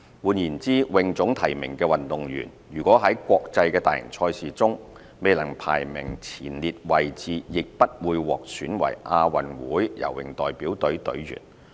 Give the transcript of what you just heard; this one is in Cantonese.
換言之，泳總提名的運動員如果在國際大型賽事中未能排名前列位置，亦不會獲選為亞運會游泳代表隊隊員。